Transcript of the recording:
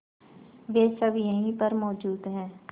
वे सब यहीं पर मौजूद है